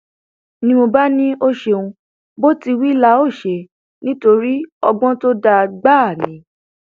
ni mo bá ní ó ṣeun bó ti wí la óò ṣe nítorí ọgbọn tó dáa gbáà ni